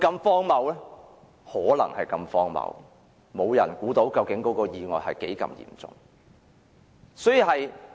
事情可能如此荒謬，沒人預計到意外有多嚴重。